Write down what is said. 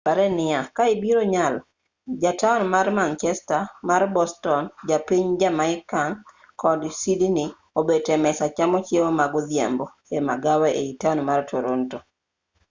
pare niya ka ibiro nyalo ja taon mar manchester mar boston ja piny jamaican kod sydney obet e mesa chamo chiemo ma godhiambo e magawa ei taon mar toronto